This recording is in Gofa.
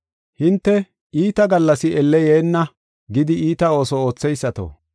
Hinte, “Iita gallas elle yeenna” gidi, iita ooso ootheysato,